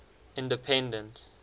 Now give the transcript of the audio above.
independent